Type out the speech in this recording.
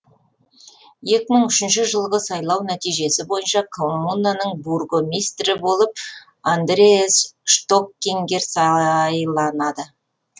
екі мың үшінші жылғы сайлау нәтижесі бойынша коммунаның бургомистрі болып андреас штоккингер сайланады